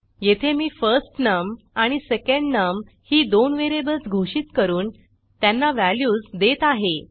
येथे मी फर्स्टनम आणि सेकंडनम ही दोन व्हेरिएबल्स घोषित करून त्यांना व्हॅल्यूज देत आहे